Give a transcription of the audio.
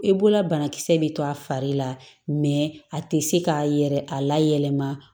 I bolola banakisɛ bɛ to a fari la a tɛ se k'a yɛrɛ a layɛlɛma